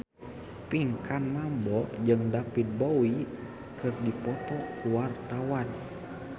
Pinkan Mambo jeung David Bowie keur dipoto ku wartawan